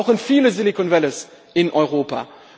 Wir brauchen viele Silicon Valleys in Europa.